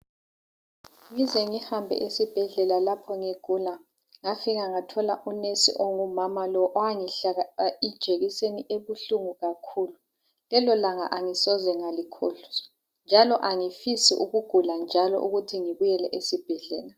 Ngize ngihambe esibhedlela lapho ngigula, ngafika ngathola unesi ongumama lo owangihlaba ijekiseni ebuhlungu kakhulu. Lelo langa angisoze ngalikhohlwa, njalo angifisi ukuthi ngibuyele esibhedlela.